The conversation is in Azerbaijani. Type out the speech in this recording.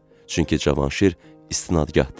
Çünki Cavanşir istinadgahdır.